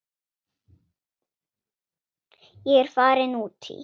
Ég er farin út í.